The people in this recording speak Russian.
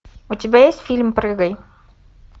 у тебя есть фильм прыгай